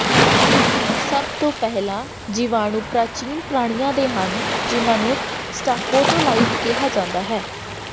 ਸਭ ਤੋਂ ਪਹਿਲਾਂ ਜੀਵਾਣੂ ਪ੍ਰਾਚੀਨ ਪ੍ਰਾਣੀਆਂ ਦੇ ਹਨ ਜਿਨ੍ਹਾਂ ਨੂੰ ਸਟਾਕੋਟੋਲਾਈਟ ਕਿਹਾ ਜਾਂਦਾ ਹੈ